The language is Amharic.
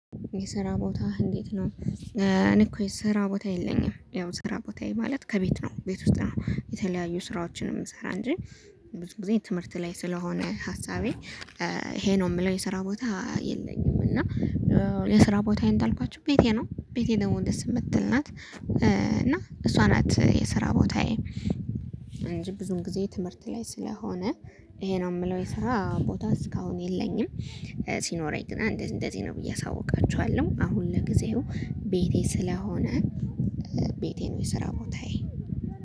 የስራ ቦታህ እንዴት ነው? እኔ እኮ የስራ ቦታ የለኝም ያው ስራ ቦታዬ ማለት ከቤት ነው ቤት ውስጥ ነው የተለያዩ ስራዎችን የምሰራ እንጂ። ብዙ ጊዜ ትምህርት ላይ ስለሆነ ሀሳቤ ይሄ ነው የምለው። የስራ ቦታ የለኝም። እና የስራ ቦታየ እንዳልኳችሁ ቤቴ ነው ቤቴ ደግሞ እንደዚህ የምትል ናት እና እሷ ናት የሰራ ቦታዬ። እንጂ ብዙም ጊዜ ትምህርት ላይ ስለሆነ። ይሄ ነው የምለው የሰራ ቦታ እስካሁን የለኝም። ሲኖረኝ ግን እንደዚህ እንደዚህ ነው ብዬ አሳውቃችኋለሁ። አሁን ለጊዜው ቤቴ ስለሆነ ቤቴ ነው የሰራ ቦታዬ